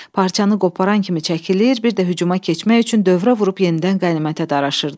Parçanı qoparan kimi çəkilir, bir də hücuma keçmək üçün dövrə vurub yenidən qənimətə daraşırdılar.